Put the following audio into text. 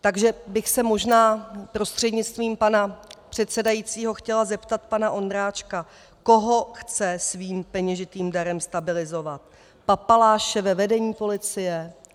Takže bych se možná prostřednictvím pana předsedajícího chtěla zeptat pana Ondráčka, koho chce svým peněžitým darem stabilizovat - papaláše ve vedení policie?